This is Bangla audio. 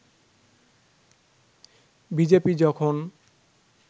বিজেপি যখন